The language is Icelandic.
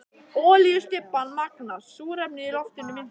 Olíustybban magnast, súrefnið í loftinu minnkar.